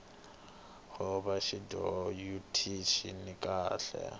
boha tinjhovo ut cina kahle